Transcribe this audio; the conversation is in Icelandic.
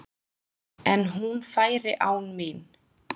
En hún færi án mín.